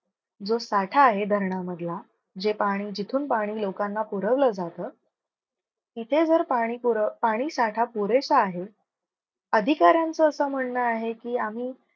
जो साठा आहे धरण मधला जे पाणी जिथून पाणी लोकांना पुरवलं जात तिथे जर, पाणी पूर पाणी साठा पुरेसा आहे अधिकाऱ्याचं असं म्हणणं आहे की, आम्ही